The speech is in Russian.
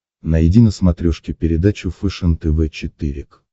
найди на смотрешке передачу фэшен тв четыре к